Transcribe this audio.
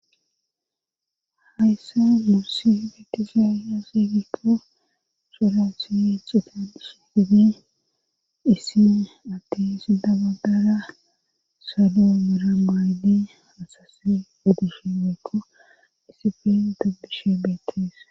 hayssa muusi betizayasidikko sholothiye cidadishi dide issine attin sidamadara salo mura maaydi hasase udushi meekko disifen dobbishe beeteesa